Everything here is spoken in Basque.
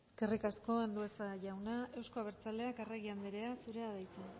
eskerrik asko andueza jauna euzko abertzaleak arregi andrea zurea da hitza